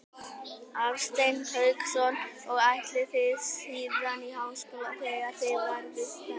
Hafsteinn Hauksson: Og ætlið þið síðan í háskóla þegar þið verðið stærri?